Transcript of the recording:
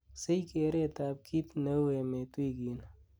sich kereet ab kiit neu emet wigini